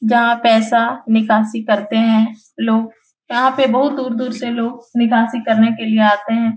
जहाँ पैसा निकासी करते हैं लोग यहाँ पे बहुत दूर-दूर से लोग निकासी करने के लिए आते हैं ।